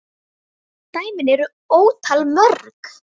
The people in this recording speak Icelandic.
Dæmin eru ótal mörg.